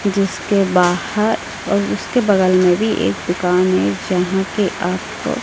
जिसके बाहर और उसके बगल में भी एक दुकान है यहां पे आपको--